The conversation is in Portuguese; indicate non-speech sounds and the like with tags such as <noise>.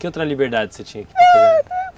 Que outra liberdade você tinha? <unintelligible>